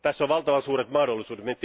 Tässä on valtavan suuret mahdollisuudet.